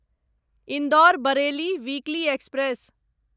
Indore Bareilly weekly express